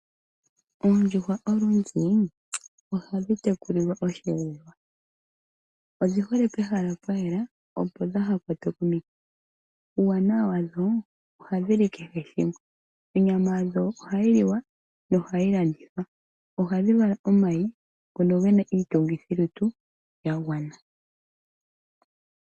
Oondjuhwa olundji ohadhi tekuliwa oshiyelelwa odhi hole pehala pwa yela opo dha ha kwatwe komikithi ,uuwanawa wadho ohadhili kehe shimwe onyama yadho ohayi lowa yo ohayi landithwa ohadhi vala omayi ngono gena iitungithilutu ya gwana.